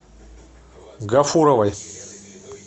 гафуровой